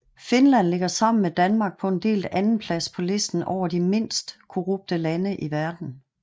Finland ligger sammen med Danmark på en delt andenplads på listen over de mindst korrupte lande i verden